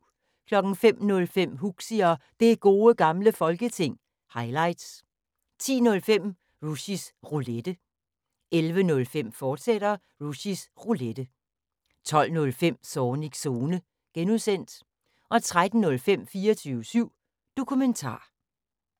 05:05: Huxi og Det Gode Gamle Folketing – highlights 10:05: Rushys Roulette 11:05: Rushys Roulette, fortsat 12:05: Zornigs Zone (G) 13:05: 24syv Dokumentar